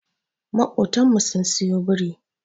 Makotan mu sun siyo biri.